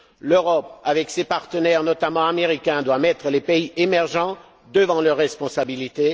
L'Europe, avec ses partenaires notamment américains, doit placer les pays émergents devant leurs responsabilités.